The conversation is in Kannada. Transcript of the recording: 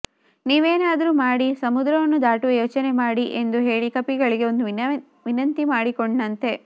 ನೀವೇನಾದ್ರೂ ಮಾಡಿ ಸಮುದ್ರವನ್ನು ದಾಟುವ ಯೋಚನೆ ಮಾಡಿ ಎಂದು ಹೇಳಿ ಕಪಿಗಳಿಗೆ ಒಂದು ವಿನಂತಿ ಮಾಡಿಕೊಂಡ್ನಂತೆ